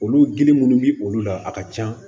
Olu gili munnu bi olu la a ka ca